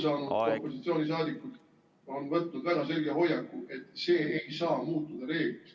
... te olete aru saanud, opositsiooniliikmed on võtnud väga selge hoiaku, et see ei saa muutuda reegliks.